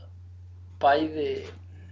bæði